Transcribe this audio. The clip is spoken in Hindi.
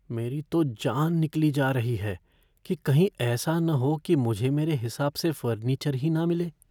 मेरी तो जान निकली जा रही है कि कहीं ऐसा ना हो कि मुझे मेरे हिसाब से फ़र्नीचर ही ना मिले।